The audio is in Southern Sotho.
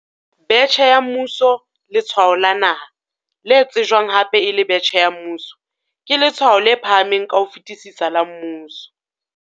Betjhe ya Mmuso Letshwao la Naha, le tsejwang hape e le betjhe ya mmuso, ke letshwao le phahameng ka ho fetisisa la mmuso.